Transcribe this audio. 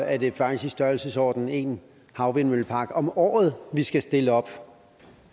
er det faktisk i størrelsesordenen en havvindmøllepark om året vi skal stille op